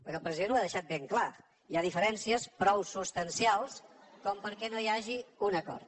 perquè el president ho ha deixat ben clar hi ha diferències prou substancials com perquè no hi hagi un acord